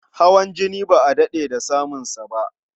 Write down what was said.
Hawan jini ba a daɗe da saninsa ba.